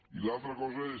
i una altra cosa és